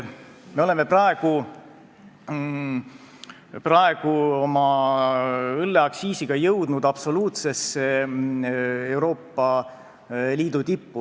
Me oleme praegu õlleaktsiisiga jõudnud Euroopa Liidu absoluutsesse tippu.